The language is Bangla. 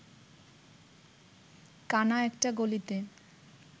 কানা একটা গলিতে